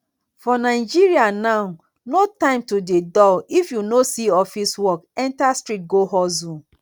for nigeria now no time to dey dull if you no see office work enter street go hustle